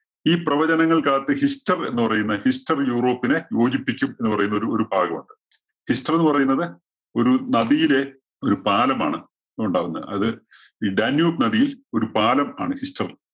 ഈ പ്രവചനങ്ങള്‍ക്കകത്ത് ഹിസ്റ്റര്‍ എന്ന് പറയുന്ന ഹിസ്റ്റര്‍ യൂറോപ്പിനെ യോജിപ്പിക്കും എന്ന് പറയുന്നൊരു ഒരു ഭാഗമുണ്ട്. ഹിസ്റ്റര്‍ എന്ന് പറയുന്നത് ഒരു നദിയിലെ ഒരു പാലമാണ് ഉണ്ടാവുന്നെ. അത് ഈ ഡാന്യൂബ് നദിയില്‍ ഒരു പാലം ആണ് ഹിസ്റ്റര്‍